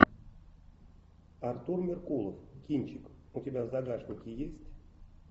артур меркулов кинчик у тебя в загашнике есть